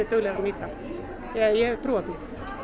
duglegra að nýta eða ég hef trú á því